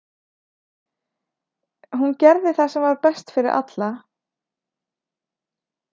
Hún gerði það sem var best fyrir alla.